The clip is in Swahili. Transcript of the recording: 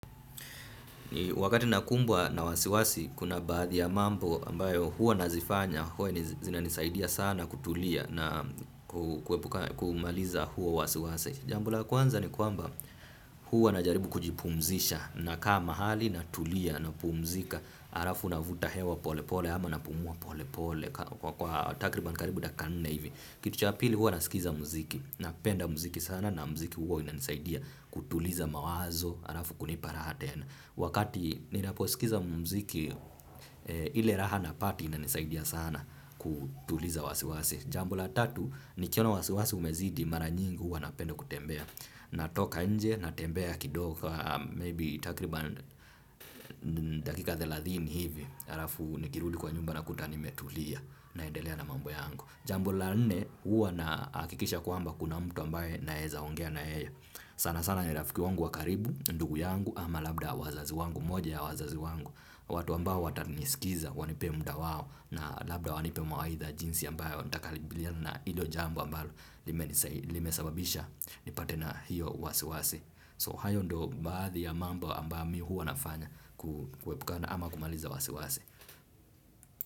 Wakati nakumbwa na wasiwasi, kuna baadhi ya mambo ambayo huwa nazifanya, huwa zinanisaidia sana kutulia na kuepuka kumaliza huo wasiwasi. Jambo la kwanza ni kwamba huwa najaribu kujipumzisha nakaa mahali natulia napumzika, halafu navuta hewa polepole ama napumua polepole kwa takriban karibu dakika nne hivi. Kitu cha pili huwa nasikiza muziki, napenda muziki sana na muziki huwa inanisaidia kutuliza mawazo, halafu kunipa raha tena. Wakati ninaposikiza muziki, ile raha napata inanisaidia sana kutuliza wasiwasi. Jambo la tatu, nikiona wasiwasi umezidi, mara nyingi huwa napenda kutembea. Natoka nje, natembea kidogo, maybe takriba dakika thelathini hivi, halafu nikirudi kwa nyumba nakuta nimetulia naendelea na mambo yangu. Jambo la nne huwa nahakikisha kwamba kuna mtu ambaye naeza ongea na yeye sana sana ni rafiki wangu wa karibu, ndugu yangu ama labda wazazi wangu, moja ya wazazi wangu. Watu ambao watanisikiza, wanipe muda wao na labda wanipe mawaidha jinsi ambayo nitakabiliana na hilo jambo ambayo limesababisha nipate na hiyo wasi wasi So hayo ndo baadhi ya mambo ambayo mi huwa nafanya kuepukana ama kumaliza wasi wasi.